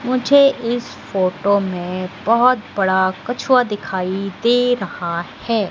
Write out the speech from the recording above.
मुझे इस फोटो में बहोत बड़ा कछुआ दिखाई दे रहा है।